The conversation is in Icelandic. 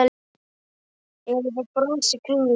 Já ég fékk brons í kringlunni.